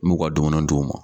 N y'u ka dumuni d'u ma.